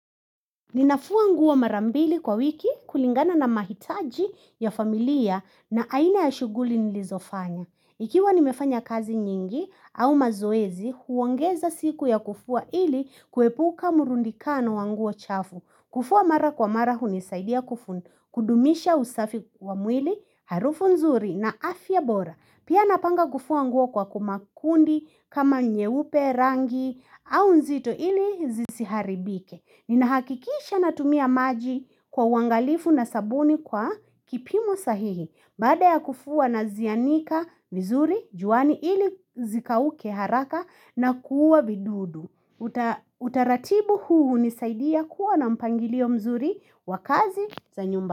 Ninafua nguo mara mbili kwa wiki kulingana na mahitaji ya familia na aina ya shughuli nilizofanya. Ikiwa nimefanya kazi nyingi au mazoezi, huongeza siku ya kufua ili kuepuka murundikano wa nguo chafu. Kufua mara kwa mara hunisaidia kufu kudumisha usafi wa mwili, harufu nzuri na afya bora. Pia napanga kufua nguo kwa kuma kundi kama nyeupe, rangi au nzito ili zisiharibike. Ninahakikisha natumia maji kwa uangalifu na sabuni kwa kipimo sahihi Baada ya kufua nazianika vizuri, juani ili zikauke haraka na kuua vidudu Utaratibu huu hunisaidia kuwa na mpangilio mzuri wa kazi za nyumba.